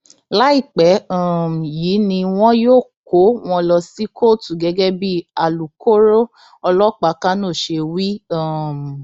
láìpẹ um yìí ni wọn yóò kó wọn lọ sí kóòtù gẹgẹ bíi alūkkóró ọlọpàá kánò ṣe wí um